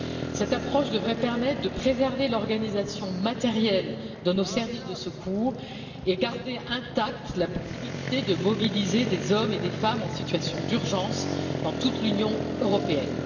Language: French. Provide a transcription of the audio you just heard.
Cette approche devrait permettre de préserver l'organisation matérielle de nos services de secours et de garder intacte la possibilité de mobiliser des hommes et des femmes en situation d'urgence dans toute l'Union européenne.